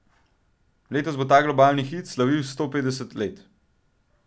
Letos bo ta globalni hit slavil sto petdeset let.